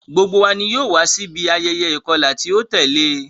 Gbogbo wa ni yoo wa si ibi ayẹyẹ ikọla ti o tẹle.